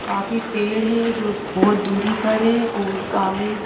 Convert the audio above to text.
काफी पेड़ हैं जो बहुत दूरी पर हैं और आगे--